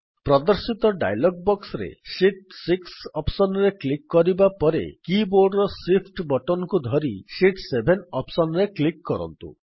ପ୍ରଦର୍ଶିତ dialog box ରେ sheet 6 option ରେ କ୍ଲିକ୍ କରିବା ପରେ କି ବୋର୍ଡ୍ ର Shift ବଟନ୍ କୁ ଧରି ଶୀତ୍ 7 ଅପ୍ସନ୍ ରେ କ୍ଲିକ୍ କରନ୍ତୁ